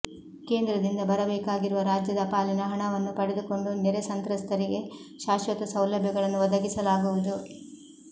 ಕೇಂದ್ರದಿಂದ ಬರಬೇಕಾಗಿರುವ ರಾಜ್ಯದ ಪಾಲಿನ ಹಣವನ್ನು ಪಡೆದುಕೊಂಡು ನೆರೆ ಸಂತ್ರಸ್ತರಿಗೆ ಶಾಶ್ವತ ಸೌಲಭ್ಯಗಳನ್ನು ಒದಗಿಸಲಾಗುವುದು